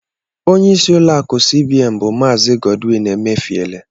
Ónyé ịsị ụlọ akụ cbn bu Maazi Godwin Emefiele.